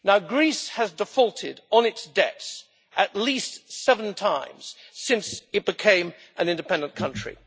Greece has defaulted on its debts at least seven times since it became an independent country.